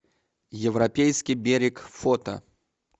европейский берег фото